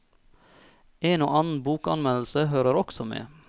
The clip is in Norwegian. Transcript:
En og annen bokanmeldelse hører også med.